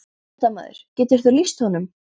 Fréttamaður: Getur þú lýst honum?